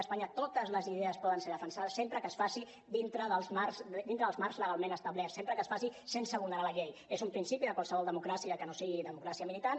a espanya totes les idees poden ser defensades sempre que es faci dintre dels marcs legalment establerts sempre que es faci sen·se vulnerar la llei és un principi de qualsevol democràcia que no sigui democràcia militant